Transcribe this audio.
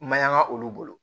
Mayanga olu bolo